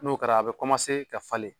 N'o kɛra a bɛ ka falen